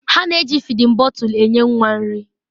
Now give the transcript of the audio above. Ha na-eji fịdin bọtul enye nwa nri.